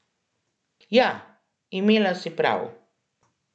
Ja, imela si prav.